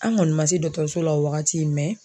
An kɔni ma se dɔgɔtɔrɔso la o wagati